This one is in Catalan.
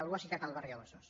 algú ha citat el barri del besós